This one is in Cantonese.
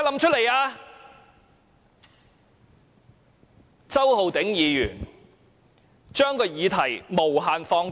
周浩鼎議員把議題無限放大。